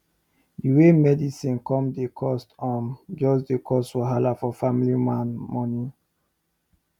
d way medicine come dey cost um jus dey cause wahala for family man moni